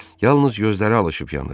Yalnız gözləri alışıp yanır.